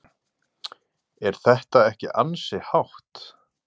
Er þetta ekki ansi hátt?